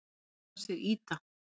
Kona hans er Ida.